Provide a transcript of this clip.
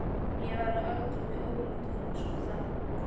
Ég var á aldur við Ólaf Tómasson þá.